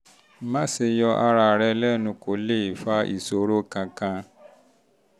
má um ṣe yọ ara rẹ lẹnu kò lè fa ìṣòro kankan